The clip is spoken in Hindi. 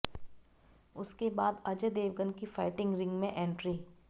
उसके बाद अजय देवगन की फाइटिंग रिंग में एंट्री